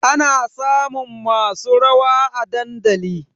Ana samun masu rawa a dandali